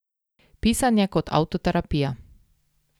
Pisanje kot avtoterapija.